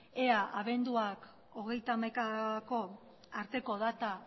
ea abenduak hogeita hamaikako arteko data